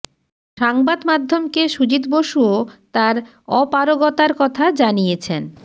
সাংবাদ মাধ্যমকে সুজিত বসুও তাঁর অপারগতার কথা জানিয়েছেন